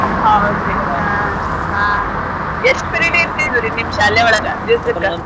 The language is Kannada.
ಹೌದ್ರಿ ಹಾ ಹಾ ಎಸ್ಟ್ period ಇರ್ತಿದ್ವ್ ರೀ ನಿಮ್ ಶಾಲೆ ಒಳ್ಗ ದೀವ್ಸಕ್ಕ.